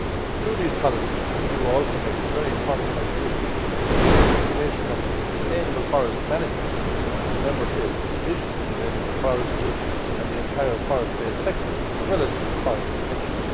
Through these policies the EU also makes a very important contribution to the implementation of sustainable forest management and Member States' decisions related to forestry and the entire forest based sector, as well as forest protection.